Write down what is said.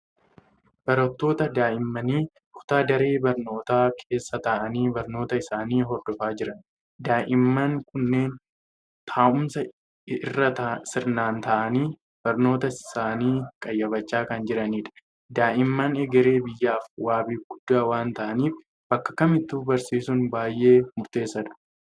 Barattoota daa'immanii kutaa daree barnootaa keessa taa'anii barnoota isaanii hordofaa jiran. Daa'imman kunneen taa'umsa irra sirnaan taa'anii barnoota isaanii qayyabachaa kan jiranidha. Daa'imman egeree biyyaaf wabii guddaa waan ta'aniif bakka kamittuu barsiisuun baay'ee murteessaadha.